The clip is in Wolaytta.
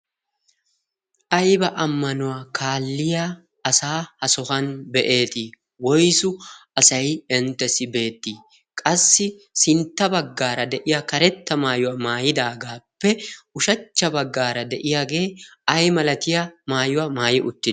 ayba ammanuwaa kaalliya asa ha sohuwan be'eetii woysu asay inttessi beettii qassi sintta baggaara de'iya karetta maayuwaa maayidaagaappe ushachcha baggaara de'iyaagee ay malatiya maayuwaa maayi utti?